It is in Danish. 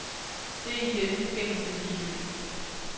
Det er i denne forbindelse ligegyldigt.